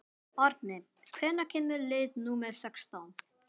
Árni, hvenær kemur leið númer sextán?